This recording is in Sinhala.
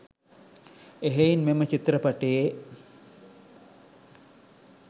එහෙයින් මෙම චිත්‍රපටියේ